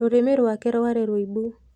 Rũrĩmĩ rwake rwarĩ rũĩbu.